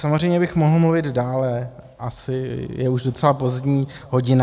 Samozřejmě bych mohl mluvit dále, asi je už docela pozdní hodina.